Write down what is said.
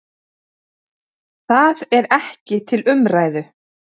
Þar skrifar biskup